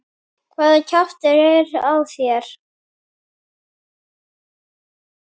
HVAÐA KJAFTUR ER Á ÞÉR.